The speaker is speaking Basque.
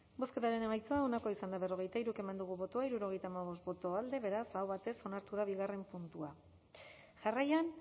bozketaren emaitza onako izan da hirurogeita hamabost eman dugu bozka hirurogeita hamabost boto alde beraz aho batez onartu da bigarren puntua jarraian